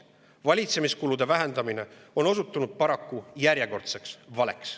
Valitsemiskulude vähendamine on osutunud paraku järjekordseks valeks.